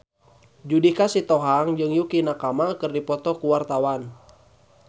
Judika Sitohang jeung Yukie Nakama keur dipoto ku wartawan